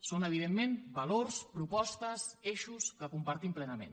són evidentment valors propostes eixos que compartim plenament